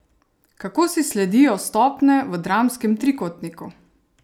Kako si sledijo stopnje v dramskem trikotniku?